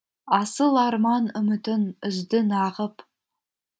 асыл арман үмітін үзді нағып